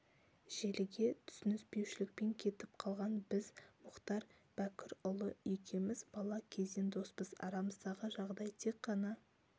желіге түсініспеушілікпен кетіп қалған біз мұхтар бәкірұлы екеуміз бала кезден доспыз арамыздағы жағдай тек ғана